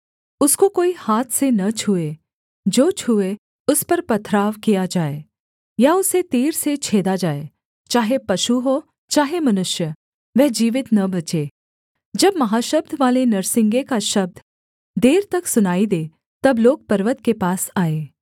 उसको कोई हाथ से न छूए जो छूए उस पर पथराव किया जाए या उसे तीर से छेदा जाए चाहे पशु हो चाहे मनुष्य वह जीवित न बचे जब महाशब्द वाले नरसिंगे का शब्द देर तक सुनाई दे तब लोग पर्वत के पास आएँ